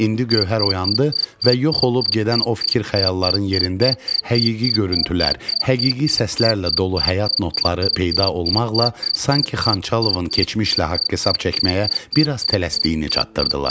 İndi Gövhər oyandı və yox olub gedən o fikir-xəyalların yerində həqiqi görüntülər, həqiqi səslərlə dolu həyat notları peyda olmaqla sanki Xanxalovun keçmişlə haqq-hesab çəkməyə biraz tələsdiyini çatdırdılar.